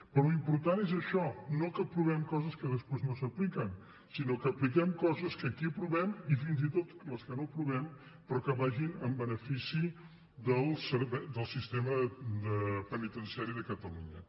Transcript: però l’important és això no que aprovem coses que després no s’apliquen sinó que apliquem coses que aquí aprovem i fins i tot les que no aprovem però que vagin en benefici del sistema penitenciari de catalunya